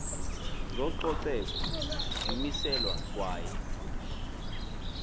zococeko zimiselwa kwaye